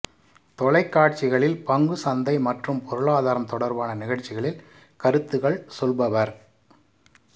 தொலைக்காட்சிகளில் பங்குச் சந்தை மற்றும் பொருளாதாரம் தொடர்பான நிகழ்ச்சிகளில் கருத்துக்கள் சொல்பவர்